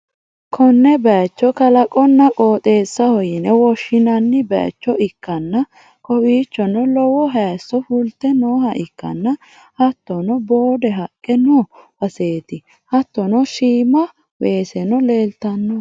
Konne bayicho kalaqonna qooxeessaho yine woshshinanni bayicho ikkanna, kowiichono lowo hayisso fulte nooha ikkanna, hattono boode haqqe noo baseeti, hattono shiima weeseno leeltanno.